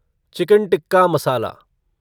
chicken tikka मसाला